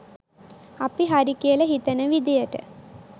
අපි හරි කියල හිතන විදියට